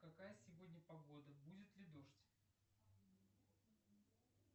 какая сегодня погода будет ли дождь